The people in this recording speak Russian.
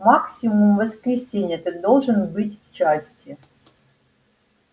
максимум в воскресенье ты должен быть в части